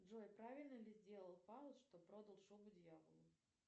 джой правильно ли сделал фауст что продал шубу дьяволу